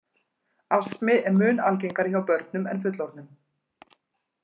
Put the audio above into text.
Astmi er mun algengari hjá börnum en fullorðnum.